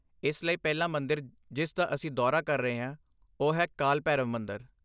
ਇਸ ਲਈ ਪਹਿਲਾ ਮੰਦਿਰ ਜਿਸ ਦਾ ਅਸੀਂ ਦੌਰਾ ਕਰ ਰਹੇ ਹਾਂ ਉਹ ਹੈ ਕਾਲ ਭੈਰਵ ਮੰਦਰ।